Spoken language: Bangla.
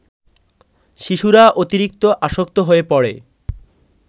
শিশুরা অতিরিক্ত আসক্ত হয়ে পড়ে